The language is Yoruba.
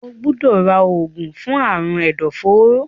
o gbódò rà oògùn fún Àrùn ẹdọforó.